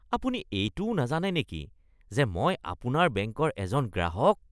আপুনি এইটোও নাজানে নেকি যে মই আপোনাৰ বেংকৰ এজন গ্ৰাহক? (গ্ৰাহক)